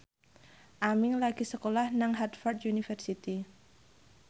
Aming lagi sekolah nang Harvard university